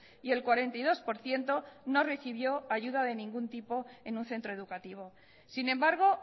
y el cuarenta y dos por ciento no recibió ayuda de ningún tipo en un centro educativo sin embargo